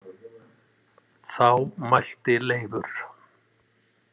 Þá mælti Leifur.